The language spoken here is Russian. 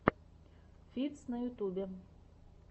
фитз на ютубе